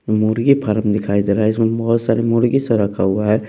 मुर्गी फार्म दिखाई दे रहा है इसमें बहुत सारे मुर्गी सब रखा हुआ है --